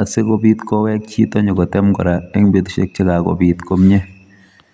asikobit kowek chito nyikotem kora eng' betushiek che kakobit komyee.